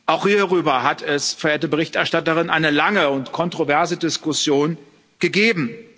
Auch hierüber hat es, verehrte Berichterstatterin, eine lange und kontroverse Diskussion gegeben.